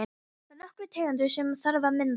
Það eru nokkrar tegundir sem þarf að mynda.